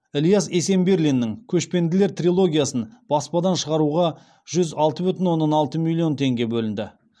ілияс есенберлинның көшпенділер трилогиясын баспадан шығаруға жүз алты бүтін оннан алты миллион теңге бөлінеді